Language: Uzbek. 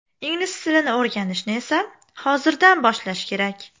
Ingliz tilini o‘rganishni esa hozirdan boshlash kerak.